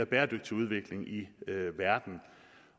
bæredygtig udvikling i verden